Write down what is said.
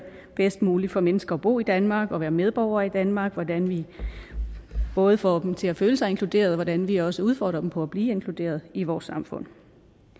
bedst muligt for mennesker at bo i danmark og være medborgere i danmark hvordan vi både får dem til at føle sig inkluderet og hvordan vi også udfordrer dem på at blive inkluderet i vores samfund